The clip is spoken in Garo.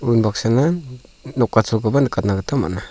unbaksana nokacholkoba nikatna gita man·a.